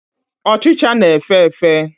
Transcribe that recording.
Ochịcha na-efe efe.